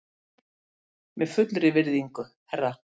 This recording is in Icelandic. Með fullri virðingu, herra.